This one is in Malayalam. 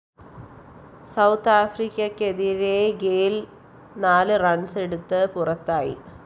സൌത്ത്‌ ആഫ്രിക്കക്കെതിരെ ഗെയ്ല്‍ നാല് റണ്‍സെടുത്ത് പുറത്തായി